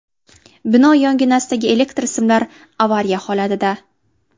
Bino yonginasidagi elektr simlari avariya holatida.